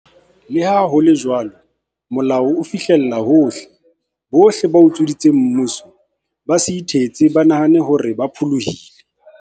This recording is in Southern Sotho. Leha ho le jwalo, molao o fihlella hohle. Bohle ba utsweditseng mmuso, ba se ithetse ba nahane hore ba pholohile.